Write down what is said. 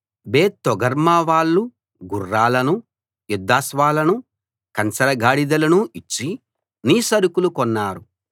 బేత్ Togarmah వాళ్ళు గుర్రాలను యుద్ధాశ్వాలనూ కంచరగాడిదలనూ ఇచ్చి నీ సరకులు కొన్నారు